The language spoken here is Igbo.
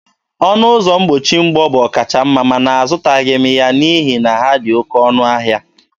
Ọnụ ụzọ mgbochi mgbọ bụ ọkachamma mana azụtaghị m ya n'ihi na ha dị oké ọnụ ahịa.